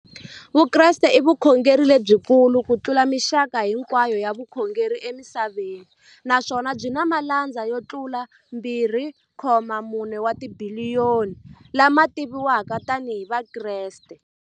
Vukreste i vukhongeri lebyi kulu kutlula mixaka hinkwayo ya vukhongeri emisaveni, naswona byi na malandza yo tlula 2.4 wa tibiliyoni, la ma tiviwaka tani hi Vakreste.